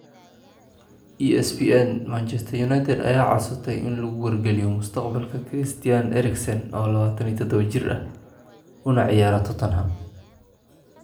(ESPN) Manchester United ayaa codsatay in lagu wargeliyo mustaqbalka Christian Eriksen, oo 27 jir ah, una ciyaara Tottenham.